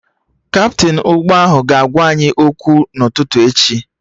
Kaptịn ụgbọ ahụ ga-agwa anyị okwu n'ụtụtụ echi